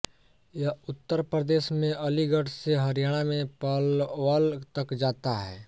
यह उत्तर प्रदेश में अलीगढ़ से हरियाणा में पलवल तक जाता है